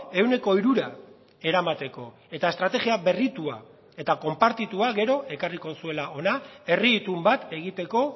ehuneko hirura eramateko eta estrategia berritua eta konpartitua gero ekarriko zuela hona herri itun bat egiteko